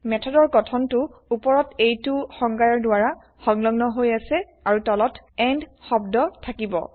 মেথডৰ গঠনটো ওপৰত এইটো সংজ্ঞয়াৰ দ্ৱাৰা সংলগ্ন হৈ অাছে আৰু160 তলত160 এণ্ড শব্দ থাকিব